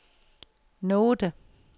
note